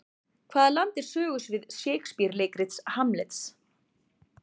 Hvaða land er sögusvið Shakespeare leikritsins Hamlet?